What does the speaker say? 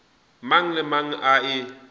mang le mang a e